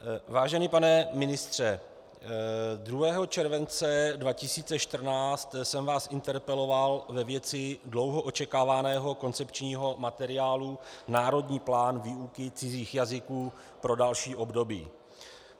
Vážený pane ministře, 2. července 2014 jsem vás interpeloval ve věci dlouho očekávaného koncepčního materiálu Národní plán výuky cizích jazyků pro další období.